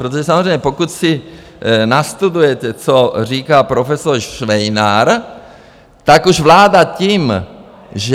Protože samozřejmě, pokud si nastudujete, co říká profesor Švejnar, tak vláda už tím, že...